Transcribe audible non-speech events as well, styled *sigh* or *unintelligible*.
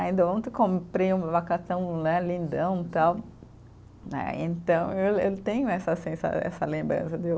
Ainda ontem eu comprei um abacatão né, lindão tal né, então eu *unintelligible* tenho essa sensa, essa lembrança de eu.